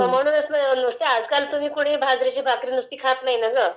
म म्हणून म्हटलं ...आजकाल तुम्ही कोणी बाजरीची भाकरी नुसती खात नाही ना ग...